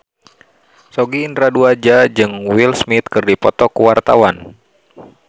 Sogi Indra Duaja jeung Will Smith keur dipoto ku wartawan